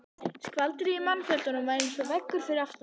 Skvaldrið í mannfjöldanum var eins og veggur fyrir aftan mig.